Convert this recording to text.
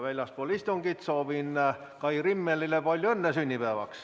Väljaspool istungit soovin Kai Rimmelile palju õnne sünnipäevaks.